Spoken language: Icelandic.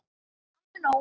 Alveg nóg.